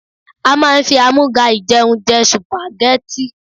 A máa ń fi àmúga-ìjẹun jẹ Sùpàgẹ́tì.